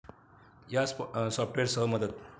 या सॉफ्टवेअरसह मदत